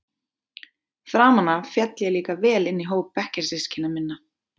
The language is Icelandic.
Framan af féll ég líka vel inn í hóp bekkjarsystkina minna.